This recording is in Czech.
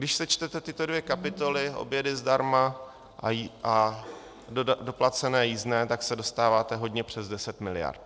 Když sečtete tyto dvě kapitoly, obědy zdarma a doplacené jízdné, tak se dostáváte hodně přes 10 mld.